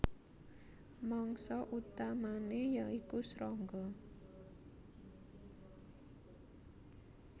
Mangsa utamané ya iku srangga